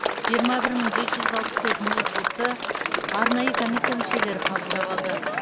жиырма бір мың жеті жүз алпыс төрт ноутбукті арнайы комиссия мүшелері қабылдап алды